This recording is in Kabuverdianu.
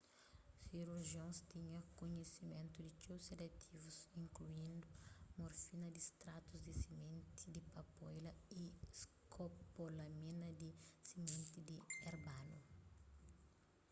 sirurjions tinha kunhisimentu di txeu sedativus inkluindu morfina di stratus di simenti di papoila y skopolamina di simenti di erbanu